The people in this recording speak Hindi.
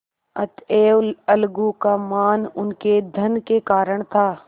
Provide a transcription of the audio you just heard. अतएव अलगू का मान उनके धन के कारण था